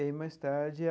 E mais tarde a.